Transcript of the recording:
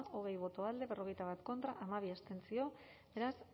hogei boto alde berrogeita bat contra hamabi abstentzio beraz